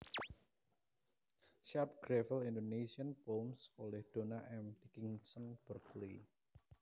Sharp gravel Indonésian poems oleh Donna M Dickinson Berkeley